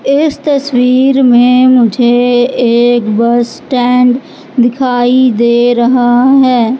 इस तस्वीर में मुझे एक बस स्टैंड दिखाई दे रहा है।